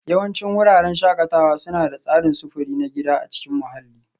Yawancin wuraren shakatawa suna da tsarin sufuri na gida a cikin mahalli